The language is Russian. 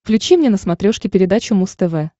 включи мне на смотрешке передачу муз тв